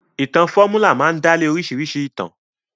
Ìtàn fọ́múlà máa dálé oríṣìíríṣìí ìtàn.